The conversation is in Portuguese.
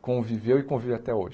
conviveu e convive até hoje.